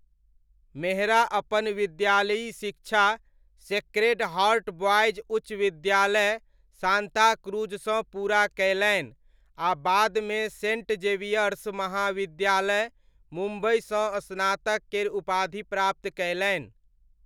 मेहरा अपन विद्यालयी शिक्षा सेक्रेड हार्ट बॉयज़ उच्च विद्यालय, सान्ताक्रूज़सँ पूरा कयलनि, आ बादमे सेण्ट जेवियर्स महाविद्यालय, मुम्बइसँ स्नातक केर उपाधि प्राप्त कयलनि।